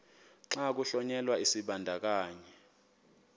xa kuhlonyelwa isibandakanyi